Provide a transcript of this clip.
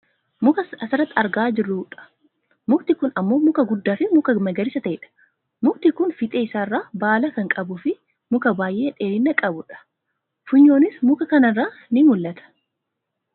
muka asirratti argaa an jirrudha. mukti kun ammmoo muka guddaafi muka magariisa ta'edha. mukti kun fiixee isaa irraa baala kan qabuufi muka baayyee dheerina qabu dha. funyoonis muka kanarraan ni mul'ata.